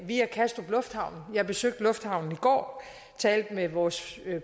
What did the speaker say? via kastrup lufthavn jeg besøgte lufthavnen i går talte med vores